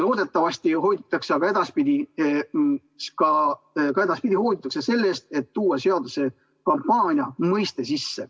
Loodetavasti hoidutakse ka edaspidi sellest, et tuua seadusesse sisse kampaania mõiste.